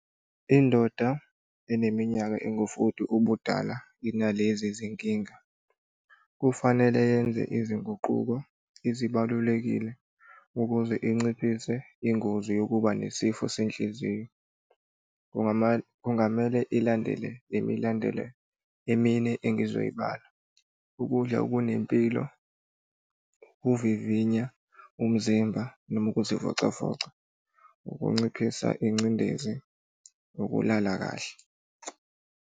Indoda eneminyaka engufoti ubudala inalezi zinkinga. Kufanele yenze izinguquko ezibalulekile ukuze inciphise ingozi yokuba nesifo senhliziyo. Kungamele ilandele le milandelo emine engizoyibala, ukudla okunempilo, ukuvivinya umzimba, noma ukuzivocavoca, ukunciphisa ingcindezi, nokulala kahle.